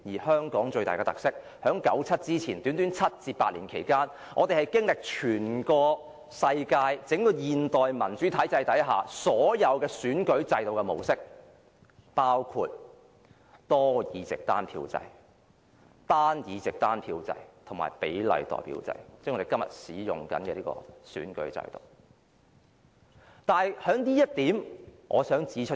香港最大的特色，是在九七前的短短7至8年間，我們經歷了全世界整個現代民主體制下所有選舉制度的模式，包括多議席單票制、單議席單票制及比例代表制，即我們今天正在使用的選舉制度。